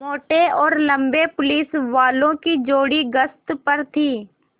मोटे और लम्बे पुलिसवालों की जोड़ी गश्त पर थी